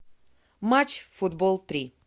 матч футбол три